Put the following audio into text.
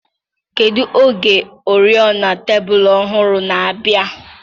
Kedu oge oriọna tebụl ọhụrụ na-abịa?